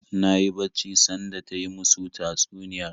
Na yi bacci sanda ta yi musu tatsuniyar